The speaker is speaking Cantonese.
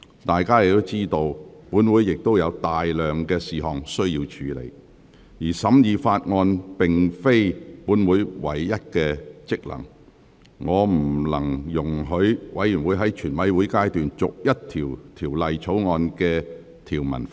大家亦知道，本會有大量事項需要處理，而審議法案並非本會的唯一職能，我不能容許委員在全體委員會審議階段逐一就《條例草案》的條文發言。